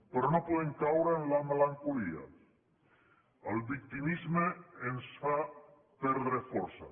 però no podem caure en la melancolia el victimisme ens fa perdre força